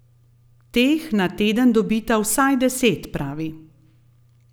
Teh na teden dobita vsaj deset, pravi.